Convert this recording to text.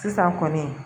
Sisan kɔni